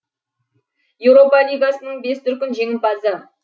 еуропа лигасының бес дүркін жеңімпазы